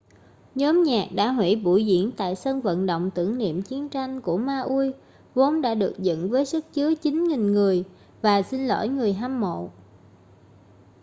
nhóm nhạc đã hủy buổi diễn tại sân vận động tưởng niệm chiến tranh của maui vốn đã được dựng với sức chứa 9.000 người và xin lỗi người hâm mộ